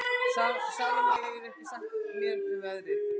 Salome, hvað geturðu sagt mér um veðrið?